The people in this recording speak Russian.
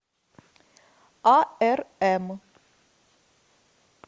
арм